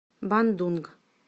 бандунг